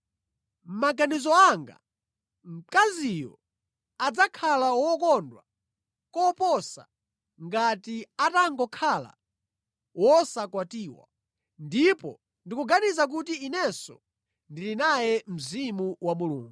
Mʼmaganizo anga, mkaziyo adzakhala wokondwa koposa ngati atangokhala wosakwatiwa. Ndipo ndikuganiza kuti inenso ndili naye Mzimu wa Mulungu.